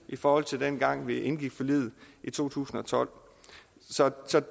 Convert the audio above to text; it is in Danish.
i forhold til dengang vi indgik forliget i to tusind og tolv så